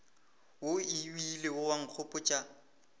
wo o ilego wa nkgopotša